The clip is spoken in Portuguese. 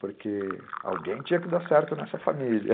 porque alguém tinha que dar certo nessa família.